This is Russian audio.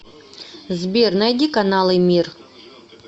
сбер найди каналы мир